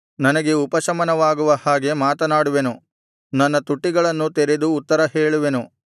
ನನಗೆ ಉಪಶಮನವಾಗುವ ಹಾಗೆ ಮಾತನಾಡುವೆನು ನನ್ನ ತುಟಿಗಳನ್ನು ತೆರೆದು ಉತ್ತರ ಹೇಳುವೆನು